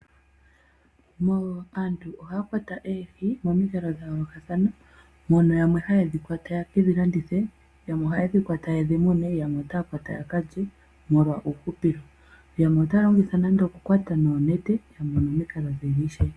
Aantu ohaya kwata oohi momikalo dha yoolokathana, mono yamwe ha ye dhi kwata ye ke dhi landithe, yamwe ota ye dhi kwata ye dhi mune, yamwe ota ya kwata ya ka lye molwa uuhupilo. Yamwe otaya longitha nande oku kwata noonete nenge momikalo dhimwe ishewe.